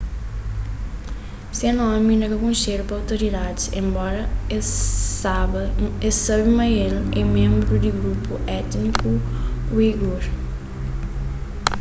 se nomi inda ka konxedu pa otoridadis enbora es sabe ma el é ménbru di grupu étniku uigur